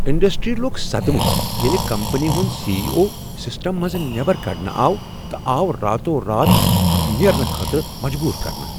industry لوٚگ صدمہ ییلِہ کمپنی ہُند سی ایی اٗو سسٹم منٛز نیبر کڈنہٕ آو تہٕ آو راتو رات نیرنہٕ خٲطرٕ آومجبور کرنہٕ